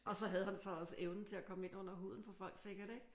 Og så havde han så også evnen til at komme ind under huden på folk sikkert ik?